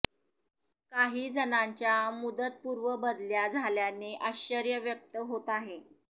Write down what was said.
काही जणांच्या मुदतपूर्व बदल्या झाल्याने आश्चर्य व्यक्त होत आहे